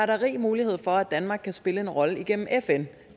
det rig mulighed for at danmark kan spille en rolle igennem fn